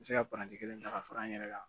Me se ka kelen ta ka fara n yɛrɛ kan